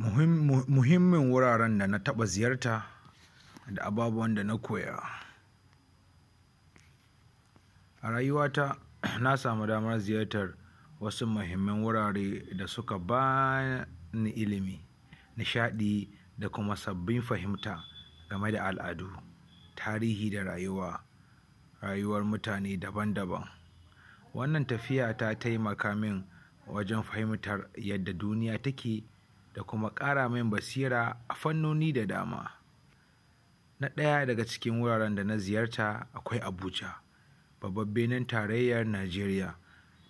Muhim muhimman wuraren da na taɓa ziyarta, da ababuwan da na koya. A rayuta na samu damar ziyartar wasu muhimman wurare da suka ba ni ilimi nishaɗi da kuma sabbin fahimta game da al'adu tarihi da rayuwa rayuwar mutane daban-daban wannan tafiya ta taimaka man wajen fahimtar yadda duniya take da kuma ƙara man basira a fannoni da dama. Na ɗaya daga cikin wuraren da na ziyarta akwai Abuja Babban birni tarayya Najeriya.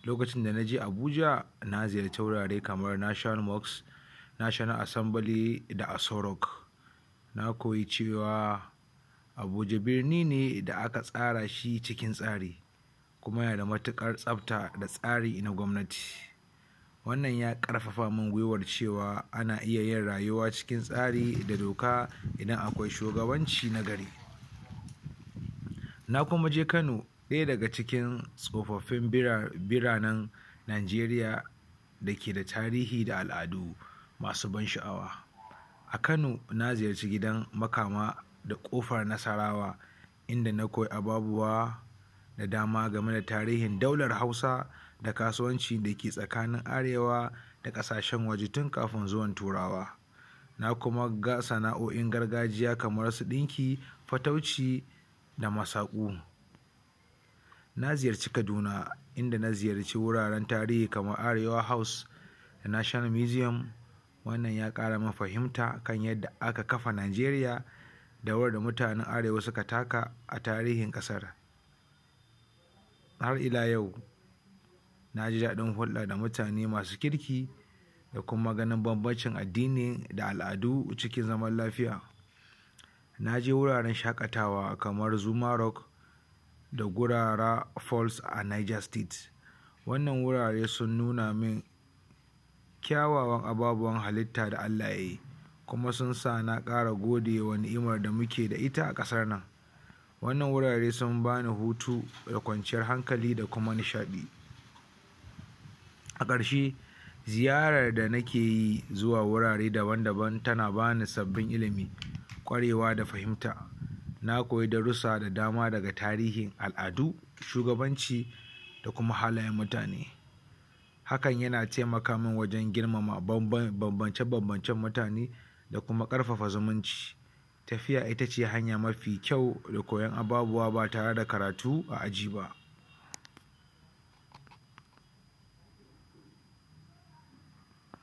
Lokacin da na je Abuja na ziyarci wurare kamar National Mosque National Assembly da Aso Rock. Na koyi cewa Abuja birne da aka tsara shi cikin tsari kuma yanada matuƙar tsabta da tsari na gwamnati wannan ya ƙarfafa man guiwa cewa ana iya yin rayuwa cikin tsari da doka idan akwai shugabanci na gari. na kuma je Kano ɗaya daga cikin tsofaffin birane biranen Najeriya da ke da tarihi da al'adu masu ban sha'awa A Kano na ziyarci gidan Makama da ƙofar Nasarawa inda na koyi ababuwa da dama game da tarihin daular Hausa da kasuwanci da ke tsakanin Arewa da ƙasashen waje tun kafin zuwan turawa. Na kuma ga sana'o'in gargajiya kamar su ɗinki fatauci da masaƙu na ziyarci Kaduna, in da na ziyarci wuraren tarihi kamar su Arewa House National Museum wannan ya ƙara man fahimta a kan yadda aka kafa Najeriya da rawar da mutanen Arewa suka taka a tarihin ƙasar. Har ila yau na ji daɗin hulɗa da mutane masu kirki da kuma ganin banbancin addini da al'adu da suke zama lafiya na ze wuraren shaƙatawa kamar Zuma Rock da gurara Pulse a Niger state wannan wurare sun nuna min kyawawan ababuwan halitta da Allah ya yi kuma sun sa na ƙara godewa wa ni'imar da muke da ita a ƙasar nan wannan wurare sun ba ni hutu da kwanciyar hankali da kuma nishaɗi a ƙarshe ziyarar da nike yi zuwa wurare daban-daban tana ba ni sabbin ilimi ƙwarewa da fahimta na koyi darussa da dama daga tarihin al'adu shugabanci da kuma halayen mutane hakan yana taimaka min wajen girmama banbance mutane da kuma ƙarfafa zumunci tafiya ita ce hanya mafi kyau da koyon ababuwa ba tare karatu a aji ba.